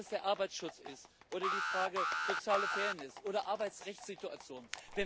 Ob es der Arbeitsschutz ist oder die Frage der sozialen Fairness oder Arbeitsrechtssituationen.